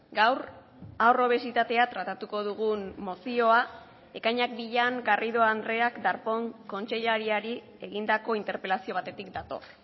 gaur haur obesitatea tratatuko dugun mozioa ekainak bian garrido andreak darpón kontseilariari egindako interpelazio batetik dator